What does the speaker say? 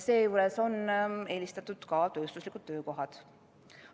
Seejuures on eelistatud ka tööstuslikud töökohad.